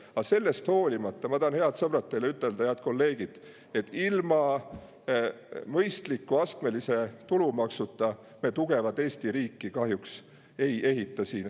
Aga sellest hoolimata ma tahan, head sõbrad, head kolleegid, teile öelda, et ilma mõistliku astmelise tulumaksuta me tugevat Eesti riiki kahjuks ei ehita.